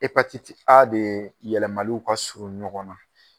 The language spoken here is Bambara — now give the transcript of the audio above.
E patiti A de ɛ yɛlɛmaniw ka surun ɲɔgɔn na.